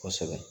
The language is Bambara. Kosɛbɛ